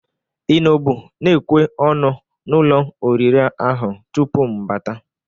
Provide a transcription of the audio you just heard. Ị nọbụ na-ekwe ọnụ n'ụlọ orire ahụ tupu m bata?